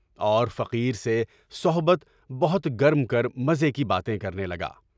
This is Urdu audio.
اور فقیر سے صحبت بہت گرم کر، مزے کی باتیں کرنے لگا۔